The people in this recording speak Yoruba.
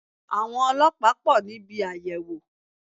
Àwọn ọlọ́pàá pò níbi àyẹ̀wò